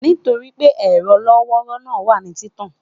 Nitori pé ẹrọ lọ́wọ́rọ̀ náà wà ní titan